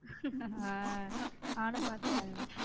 நானும் பாத்தேன்.